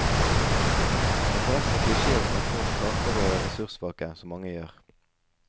Det er forresten en klisjé å snakke om tapere og ressurssvake, som mange gjør.